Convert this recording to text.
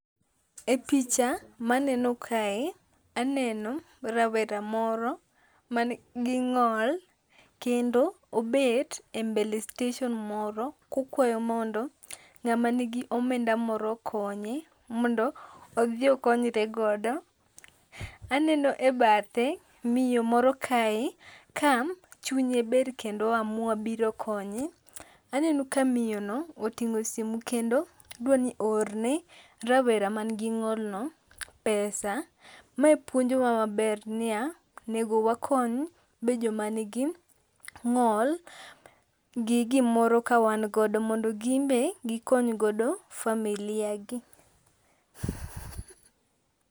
E picha, ma aneno kae, aneno rawera moro ma nigi ng'ol, kendo obet e mbele station moro kokwayo mondo ng'ama nigi omenda moro okonye mondo odhi okonyre godo. Aneno e bathe miyo moro kae, ka chunye ber kendo o amua biro konye. Aneno ka miyono, oting'o simu kendo dwaro ni mondo oorne rawera mangi ng'olno pesa. Ma puonjowa maber niya, onego wakony be joma nigi ng'ol, gi gimoro ka wan godo mondo ginbe, gikony godo familia gi.